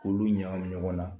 K'olu ɲakami ɲɔgɔn na